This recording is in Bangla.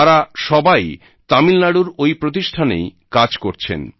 তারা সবাই তামিলনাড়ুর ঐ প্রতিষ্ঠানেই কাজ করছেন